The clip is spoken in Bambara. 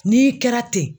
N'i kɛra ten